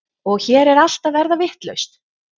Og hér er allt að verða vitlaust.